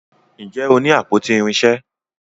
Njé o ní àpótí irinṣẹ?